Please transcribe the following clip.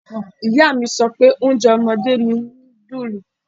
Ìyá mi sọ pé oúnjẹ ọmọdé ni nudulu.